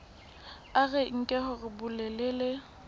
a re nke hore bolelele